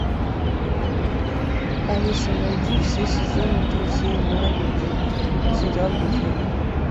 алиса найди все сезоны друзей на ютубе сериал друзья